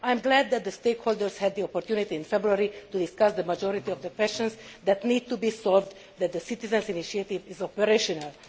I am glad that the stakeholders had the opportunity in February to discuss the majority of the questions that need to be solved so that the citizens' initiative is operational.